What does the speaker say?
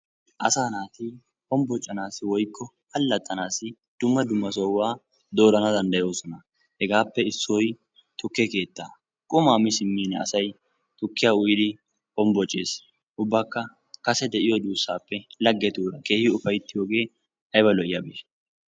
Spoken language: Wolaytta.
Asaa naati hombbocanaassi/allaxxanaassi dumma dumma sohuwa doorana danddayoosona. Hegaappe issoy tukke keettaa. Qumaa mi simmim asay tukkiya uyidi hombbocees, ubbakka kase de'iyo duussaappe laggetuura keehi ufayttiyogee ayba lo'iyabeeshsha!